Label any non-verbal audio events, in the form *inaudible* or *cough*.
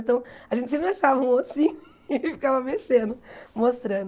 Então, a gente sempre achava um, assim, *laughs* e ficava mexendo, mostrando.